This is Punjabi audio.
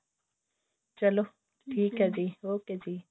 ਚਲੋ ਠੀਕ ਹੈ ਜੀ ok ਜੀ